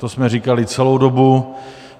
To jsme říkali celou dobu.